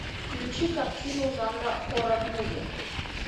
включи картину жанра хоррор муви